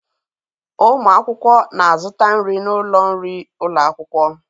Ụmụ akwụkwọ na-azụta nri n'ụlọ nri ụlọ akwụkwọ